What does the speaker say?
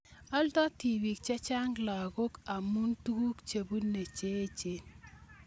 Aldo tibik chechang lagok amu tuguk chebune che echen.